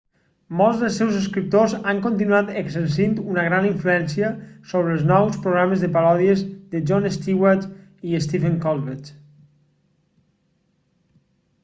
molts dels seus escriptors han continuat exercint una gran influència sobre els nous programes de paròdies de jon stewart i stephen colbert